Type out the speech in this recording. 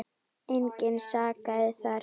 Engan sakaði þar.